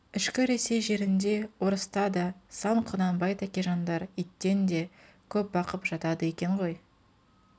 ішкі ресей жерінде орыста да сан құнанбай тәкежандар иттен де көп бықып жатады екен ғой